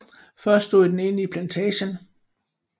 Først stod den inde i plantagen